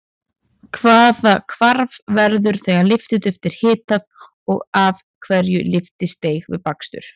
Hvaða hvarf verður þegar lyftiduft er hitað og af hverju lyftist deig við bakstur?